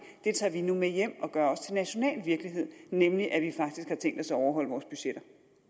tager vi nu med hjem og gør også til national virkelighed nemlig at vi faktisk har tænkt os at overholde vores budgetter